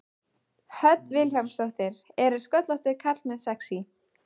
Hödd Vilhjálmsdóttir: Eru sköllóttir karlmenn sexý?